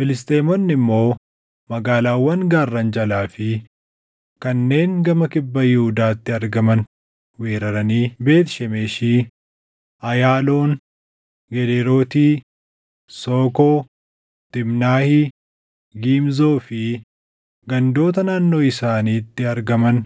Filisxeemonni immoo magaalaawwan gaarran jalaa fi kanneen gama kibba Yihuudaatti argaman weeraranii Beet Shemeshi, Ayaaloon, Gedeerooti, Sookoo, Tiimnaahi, Gimzoo fi gandoota naannoo isaanitti argaman